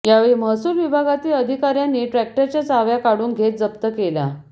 यावेळी महसूल विभागातील अधिकाऱ्यांनी ट्रॅक्टरच्या चाव्या काढून घेत जप्त केला